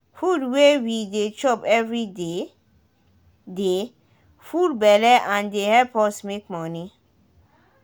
food wey we de chop everyday de full belle and de help us make money